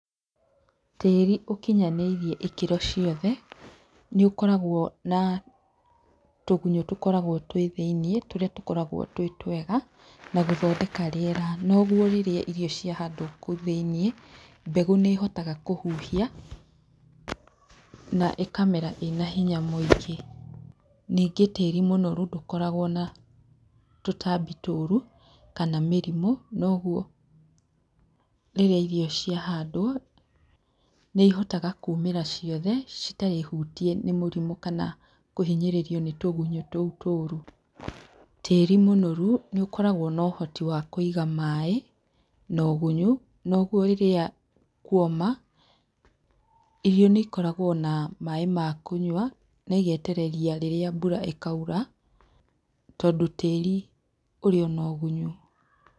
Tĩĩri ũkinyanĩirie ikĩro ciothe, nĩũkoragwo na tũgunyũ tũkoragwo twĩ thĩiniĩ tũrĩa tũkoragwo twĩ twega na gũthondeka rĩera noguo rĩrĩa irio ciahandwo kũu thĩiniĩ, mbegũ nĩĩhotaga kũhuhia na ĩkamera ĩna hinya mũingĩ. Ningĩ tĩĩri mũnoru ndũkoragwo na tũtambi tũũru kana mĩrimu noguo rĩrĩa irio ciahandwo, nĩihotaga kumĩra ciothe citarĩ hutie nĩ mũrimũ kana kũhinyĩrĩrio nĩ tũgunyũ tũu tũũru. tĩĩri mũnoru nĩ ũkoragwo na ũhoti wa kũiga maĩ na ũgunyũ noguo rĩrĩa kuoma, irio nĩ ikoragwo na maĩ ma kũnyua na igetereria nginya rĩrĩa mbura ĩkaura tondũ tĩĩri ũrĩ ona ũgunyũ.